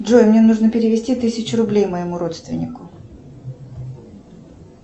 джой мне нужно перевести тысячу рублей моему родственнику